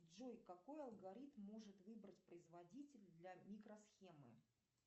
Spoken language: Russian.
джой какой алгоритм может выбрать производитель для микросхемы